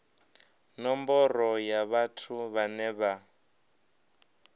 nomboro ya vhathu vhane vha